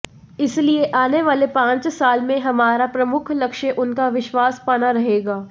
इसलिए आने वाले पांच साल में हमारा प्रमुख लक्ष्य उनका विश्वास पाना रहेगा